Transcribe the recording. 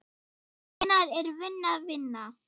Hvenær er vinna vinna?